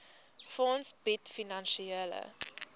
fonds bied finansiële